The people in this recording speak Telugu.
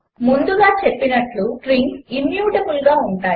ముందుగా చెప్పినట్లు స్ట్రింగ్స్ ఇమ్యూటబుల్గా ఉంటాయి